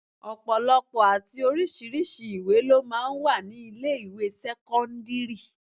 Ọ̀pọ̀lọpọ̀ àti oríṣiríṣi ìwé lọ máa ń wà ní ilé ìwé sẹ́kọ́ńdírì.